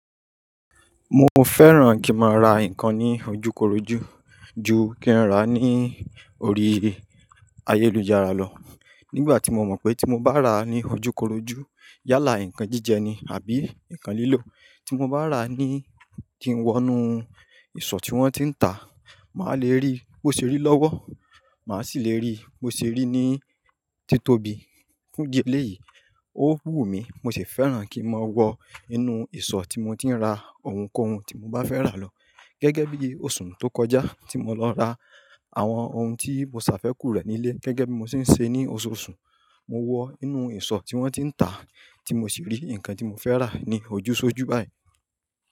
Mo fẹ́ràn kí n máa ra nǹkan ní ojúkorojú ju kí n rá a ní orí ayélujára lọ. Nígbà tí mo mọ̀ pé tí mo bá rà á ní ojúkorojú yálà nǹkan jíjẹ ni àbí nǹkan lílò. Tí mo bá rà á ní kín wọ̀ nu ìsọ̀ tí wọ́n ti ń tà, màá lè rí bó ṣe rí lọ́wọ́, màá sì lè rí bó ṣe rí ní títóbi. Fún dì eléyìí, ó wù mí, mo sì fẹ́ràn kí n máa wọ inú ìsọ̀ tí mo ti ń ra ohunkóhun tí mo bá fẹ́ rà lọ. Gẹ́gẹ́ bí oṣù tó kọjá tí mo lọ ra àwọn ohun tí mo ṣàfẹ́kù rẹ̀ nílé gẹ́gẹ́ bí mo ṣe ń ṣe ní oṣooṣù, mo wọ inú ìsọ̀ tí wọ́n ti ń tà tí mo sì rí nǹkan tí mo fẹ́ rà ní ojúṣojú báyìí.